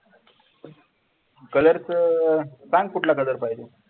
colour चे सांग कुठला color पाहिजे?